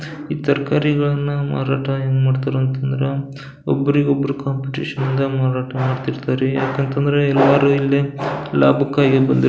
ಈ ತರಕಾರಿಗಳನ್ನ ಮಾರಾಟ ಹೆಂಗ್ ಮಾಡ್ತಾರಾ ಅಂತಂದ್ರ ಒಬ್ಬರಿಗ್ ಒಬ್ರು ಕಾಂಪಿಟಿಷನ್ ಇಂದ ಮಾರಾಟ ಮಾಡ್ತಿರ್ತಾರ್ ರೀ ಯಾಕಂದ್ರ ಎಲ್ಲ ಲಾಭಕ್ಕಾಗಿ ಬಂದಿರ್ --